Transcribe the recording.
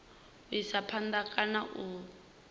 u isa phanda kana u